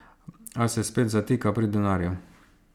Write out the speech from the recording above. A se spet zatika pri denarju.